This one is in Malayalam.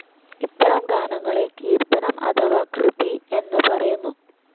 ഇത്തരം ഗാനങ്ങളെ കീർത്തനം അഥവാ കൃതി എന്ന് പറയുന്നു.